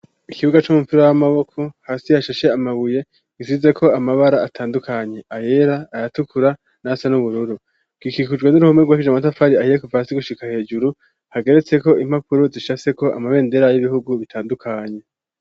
Ikibuga c' umupira w'amaboko hasi hashashe amabuye asizeko amabara atandukanye: ayera, ayatukura n'ayasa n'ubururu. Gikikujwe n'uruhome rwubakishijwe amatafari ahiye kuva hasi gushika hejuru. Hageretseko impapuro zicafyeko amabendera y'ibihugu bitandukanye.